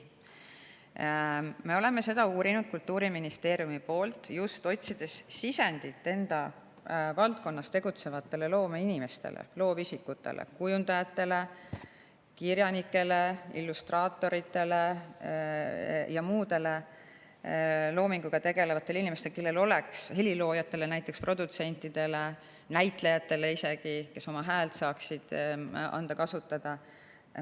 Me oleme seda uurinud Kultuuriministeeriumis, just otsides sisendit enda valdkonnas tegutsevatele loomeinimestele, loovisikutele: kujundajatele, kirjanikele, illustraatoritele ja muudele loominguga tegelevatele inimestele, ka heliloojatele näiteks, produtsentidele, isegi näitlejatele, kes saaksid anda kasutada oma häält.